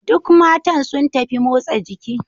Duk matan sun tafi motsa jiki.